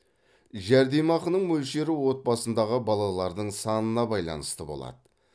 жәрдемақының мөлшері отбасындағы балалардың санына байланысты болады